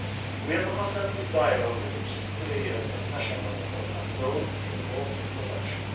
We have a constructive dialogue with the key players at national level and those involved in production.